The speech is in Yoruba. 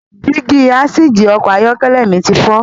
Dígí asìjì Ọkọ̀ ayọ́kẹ́lẹ̀ mi ti fọ.